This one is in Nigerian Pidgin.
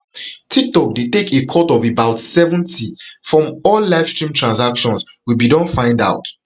tiktok dey take a cut of about seventy from all livestream transactions we bin don find out